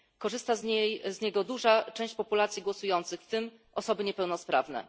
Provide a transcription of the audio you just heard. Korzysta z niego duża część populacji głosujących, w tym osoby niepełnosprawne.